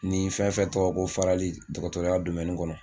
Ni fɛn fɛn tɔgɔ ko farali dɔgɔtɔrɔya kɔnɔ